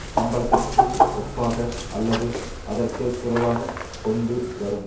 சம்பளத்திற்கு ஒப்பாக அல்லது அதற்கு குறைவாகக் கொண்டு வரும்